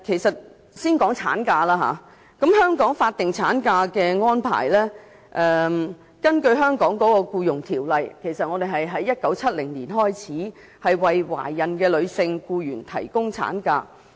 先談產假，香港《僱傭條例》在1970年開始向懷孕女性僱員提供法定產假。